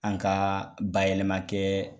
An ka bayɛlɛma kɛ